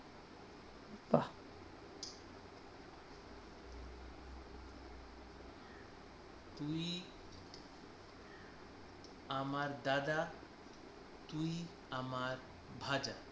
আমার দাদা তুই আমার ভাজা